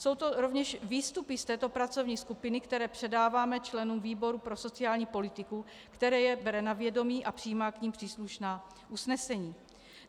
Jsou to rovněž výstupy z této pracovní skupiny, které předáváme členům výboru pro sociální politiku, který je bere na vědomí a přijímá k nim příslušná usnesení.